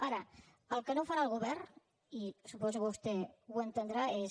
ara el que no farà el govern i suposo que vostè ho entendrà és